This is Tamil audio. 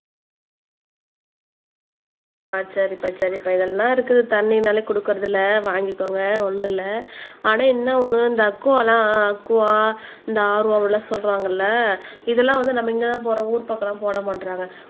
சரிப்பா சரிப்பா இதெல்லாம் இருக்குது தண்ணினாலே கொடுக்கிறதுல வாங்கிக்கோங்க ஒன்னும் இல்ல ஆனா என்ன ஒண்ணு இந்த அக்குவா எல்லாம் அக்குவா இந்த RO லாம் சொல்றாங்க இல்ல இதெல்லாம் வந்து நம்ம இங்கதான் போடுறாங்க ஊர் பக்கம் போட மாட்டுறாங்க